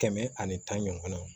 Kɛmɛ ani tan ɲɔgɔn kɔnɔ